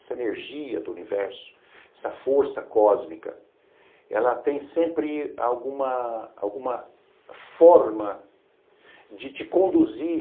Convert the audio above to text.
Essa energia do universo, essa força cósmica, ela tem sempre alguma alguma forma de te conduzir